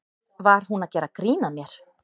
Var hún að gera grín að mér?